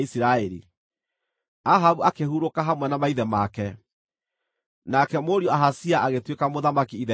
Ahabu akĩhurũka hamwe na maithe make. Nake mũriũ Ahazia agĩtuĩka mũthamaki ithenya rĩake.